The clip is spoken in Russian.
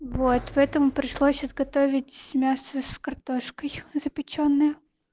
вот поэтому пришлось изготовить мясо с картошкой запечённая